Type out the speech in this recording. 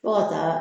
Fo ka taa